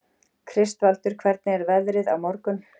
Kristvaldur, hvernig er veðrið á morgun?